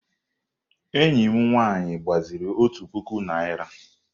Enyi m nwaanyị gbaziri òtù puku naịra.